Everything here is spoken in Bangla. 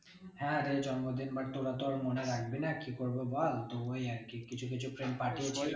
হ্যাঁ রে জন্মদিন but তোরা তো আর মনে রাখবি না কি করবো বল তো ওই আর কি কিছু কিছু friend পাঠিয়েছে।